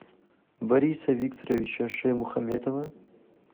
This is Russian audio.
бориса викторовича шаймухаметова